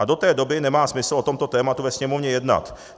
A do té doby nemá smysl o tomto tématu ve Sněmovně jednat.